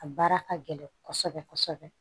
A baara ka gɛlɛn kosɛbɛ kosɛbɛ